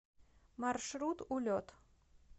маршрут улет